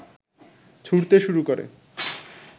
ছুঁড়তে শুরু করে